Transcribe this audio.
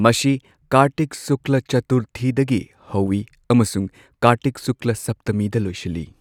ꯃꯁꯤ ꯀꯥꯔꯇꯤꯛ ꯁꯨꯛꯂꯥ ꯆꯇꯨꯔꯊꯤꯗꯒꯤ ꯍꯧꯏ ꯑꯃꯁꯨꯡ ꯀꯥꯔꯇꯤꯛ ꯁꯨꯛꯂ ꯁꯞꯇꯃꯤꯗ ꯂꯣꯏꯁꯤꯜꯂꯤ꯫